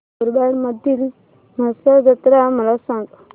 मुरबाड मधील म्हसा जत्रा मला सांग